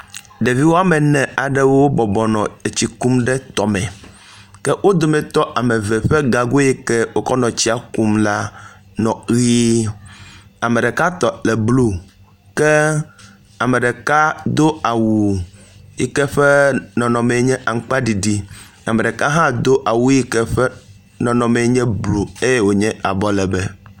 Ɖevi wome ene aɖe bɔbɔ nɔ tsi kum ɖe tɔme ke wo dometɔ eve ƒe gago yi ke wokɔ nɔ tsia kum la nɔ ʋie. Ame ɖeka tɔ le blu, ke ame ɖeka do awu yi ke eƒe nɔnɔme enye aŋkpaɖiɖi. Ame ɖeka hã do awu yi ke eƒe nɔnɔme enye blu eye wonye abɔ legbẽ.